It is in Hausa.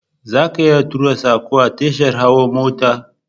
Zaka iya tura sako a tashar hawa mota